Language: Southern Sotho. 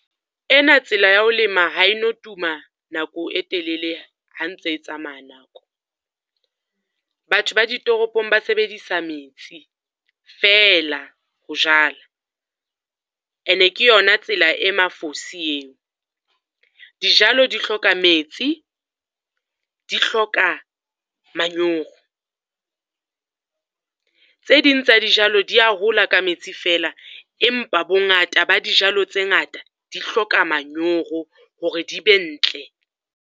Ena tsela ya ho lema ha e no tuma nako e telele ha ntse tsamaya nako. Batho ba ditoropong ba sebedisa metsi, fela ho jala, ene ke yona tsela e mafosi eo. Dijalo di hloka metsi, di hloka manyoro. Tse ding tsa dijalo di ya hola ka metsi fela, empa bongata ba dijalo tse ngata di hloka manyoro hore di be ntle.